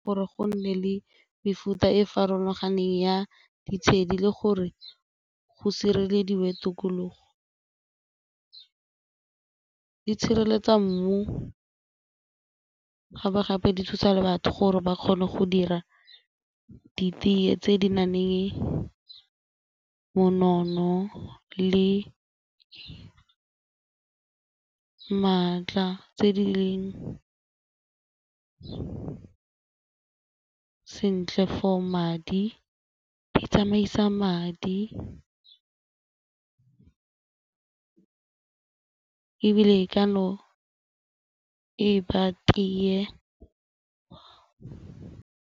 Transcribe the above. Gore go nne le mefuta e farologaneng ya ditshedi le gore go sirelediwe tokologo. Di tshireletsa mmu gape-gape di thusa le batho gore ba kgone go dira ditee tse di nang eng monono le maatla tse di leng sentle for madi, di tsamaisa madi ebile e ka no e ba tee.